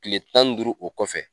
Tile tan ni duuru o kɔfɛ